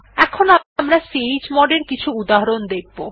এখন আমরা chmod এর কিছু উদাহরণ দেখব